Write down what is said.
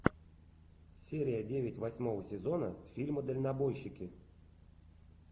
серия девять восьмого сезона фильма дальнобойщики